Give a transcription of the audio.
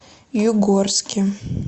югорске